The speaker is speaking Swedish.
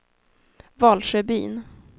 Valsjöbyn